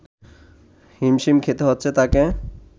হিমশিম খেতে হচ্ছে তাকে